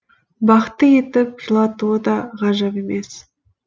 бақытты етіп жылатуы да ғажап емес